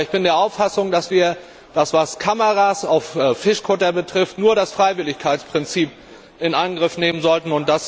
Ich bin aber der Auffassung, dass wir, was Kameras auf Fischkuttern betrifft, nur das Freiwilligkeitsprinzip in Angriff nehmen sollten.